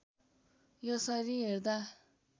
यसरी हेर्दा